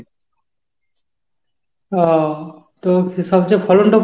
ও তো সবচেয়ে ফলনটা কোন!